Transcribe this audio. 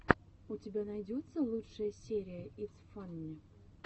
у тебя найдется лучшая серия итс фанне